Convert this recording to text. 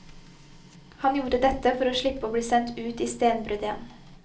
Han gjorde dette for å slippe å bli sendt ut i stenbruddet igjen.